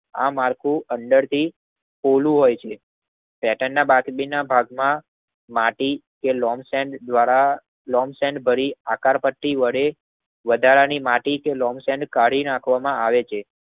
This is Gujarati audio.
આ માળખું અંદર થી પોલું હોય છે. પેટનના બાકીના ભાગમાં માટી કે લોન્ગસેન્ગ કરી આકારપટ્ટી વડે વધારાની માટી કે લોન્ગસેન્ગ કાઢીને આપવામાં આવે છે.